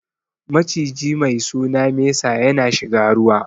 Maciji mai suna mesa ya na shiga ruwa